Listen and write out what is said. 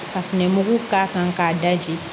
Safinɛmugu k'a kan k'a daji